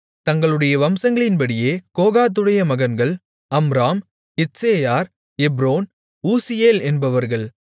தங்களுடைய வம்சங்களின்படியே கோகாத்துடைய மகன்கள் அம்ராம் இத்சேயார் எப்ரோன் ஊசியேல் என்பவர்கள்